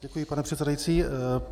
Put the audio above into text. Děkuji, pane předsedající.